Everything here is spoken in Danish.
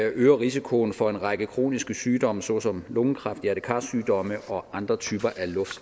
øger risikoen for en række kroniske sygdom såsom lungekræft hjerte kar sygdomme og andre typer